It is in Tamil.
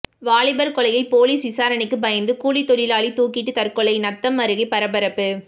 வாலிபர் கொலையில் போலீஸ் விசாரணைக்கு பயந்து கூலித்தொழிலாளி தூக்கிட்டு தற்கொலை நத்தம் அருகே பரபரப்பு